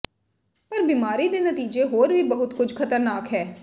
ਪਰ ਬੀਮਾਰੀ ਦੇ ਨਤੀਜੇ ਹੋਰ ਵੀ ਬਹੁਤ ਕੁਝ ਖ਼ਤਰਨਾਕ ਹੈ